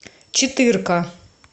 четырка